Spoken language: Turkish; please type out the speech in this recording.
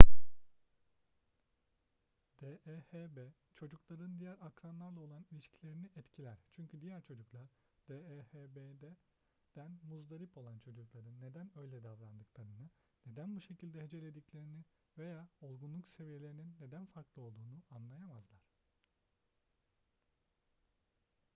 dehb çocukların diğer akranlarla olan ilişkilerini etkiler çünkü diğer çocuklar dehb'den muzdarip olan çocukların neden öyle davrandıklarını neden bu şekilde hecelediklerini veya olgunluk seviyelerinin neden farklı olduğunu anlayamazlar